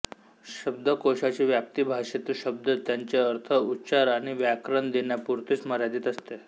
शब्दकोशाची व्याप्ती भाषेतील शब्द त्यांचे अर्थ उच्चार आणि व्याकरण देण्यापुरतीच मर्यादित असते